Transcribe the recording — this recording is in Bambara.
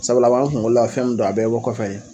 Sabula a b'an kunkolola fɛn don, a bɛɛ bi bɔ kɔfɛ ye